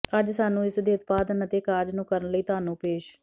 ਅੱਜ ਸਾਨੂੰ ਇਸ ਦੇ ਉਤਪਾਦਨ ਅਤੇ ਕਾਰਜ ਨੂੰ ਕਰਨ ਲਈ ਤੁਹਾਨੂੰ ਪੇਸ਼